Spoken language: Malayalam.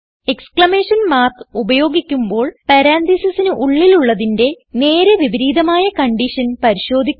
എക്സ്ക്ലമേഷൻ മാർക്ക് ഉപയോഗിക്കുമ്പോൾ പരാൻതീസിസിന് ഉള്ളിലുള്ളതിന്റെ നേരെ വിപരീതമായ കൺഡിഷൻ പരിശോധിക്കുന്നു